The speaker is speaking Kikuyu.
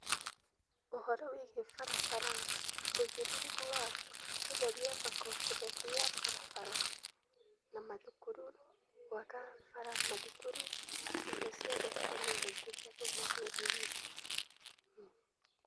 Ũhoro wĩgiĩ barabara, ũigĩrĩrĩku wa gũtheria thoko, gũtheria barabara na mathukuru, gũaka bara, mathukuru na indo ciothe cikoniĩ mũingĩ cia kũu matũrainĩ.